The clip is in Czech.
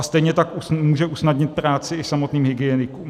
A stejně tak může usnadnit práci i samotným hygienikům.